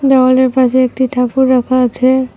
দেওয়ালের পাশে একটি ঠাকুর রাখা আছে।